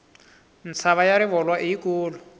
mtshava ya rivolwa i yi kulu